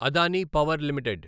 Adani power limited